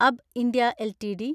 അബ്ബ് India LTD